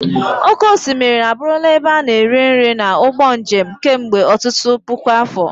Oké osimiri abụrụla ebe a na-eri nri na ụgbọ njem kemgbe ọtụtụ puku afọ.